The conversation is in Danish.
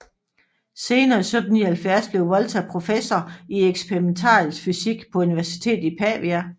Senere i 1779 blev Volta professor i eksperimentalfysik på universitetet i Pavia